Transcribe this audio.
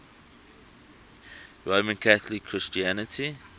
roman catholic christianity